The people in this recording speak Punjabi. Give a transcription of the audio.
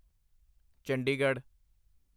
ਚੰਡੀਗੜ੍ਹ